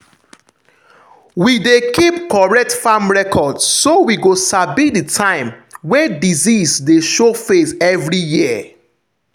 we dey keep correct farm record so we go sabi the time wey disease dey show face every year.